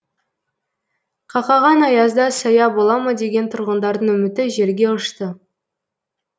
қақаған аязда сая бола ма деген тұрғындардың үміті желге ұшты